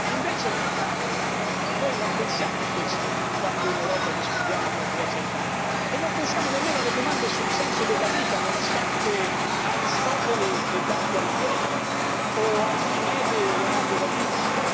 invece, noi non pensiamo a questo quando in Europa discutiamo tra Grecia e Italia e non pensiamo nemmeno alle domande sul senso della vita nonostante Aristotele e Dante Alighieri o Archimede e Leonardo da Vinci.